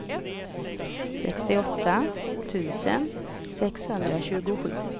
sextioåtta tusen sexhundratjugosju